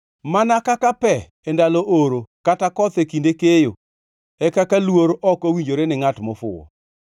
Mana kaka pe e ndalo oro kata koth e kinde keyo, e kaka luor ok owinjore ni ngʼat mofuwo.